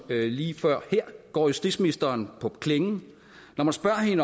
lige før går justitsministeren på klingen og spørger